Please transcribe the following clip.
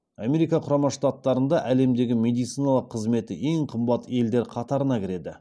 америка құрама штаттарында әлемдегі медициналық қызметі ең қымбат елдер қатарына кіреді